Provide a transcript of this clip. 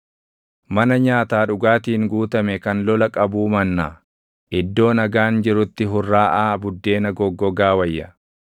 Mana nyaataa dhugaatiin guutame kan lola qabuu mannaa, iddoo nagaan jirutti hurraaʼaa buddeena goggogaa wayya.